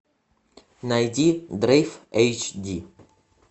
найди дрейф эйч ди